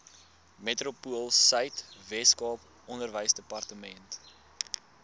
metropoolsuid weskaap onderwysdepartement